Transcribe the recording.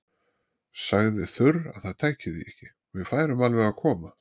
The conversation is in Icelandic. Sagði þurr að það tæki því ekki, við færum alveg að koma.